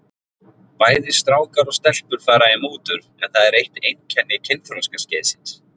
Bæði strákar og stelpur fara í mútur en það er eitt einkenni kynþroskaskeiðsins.